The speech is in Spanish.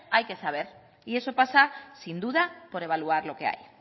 hay que saber y eso pasa sin duda por evaluar o que hay